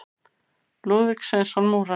Lúðvík Sveinsson múrari.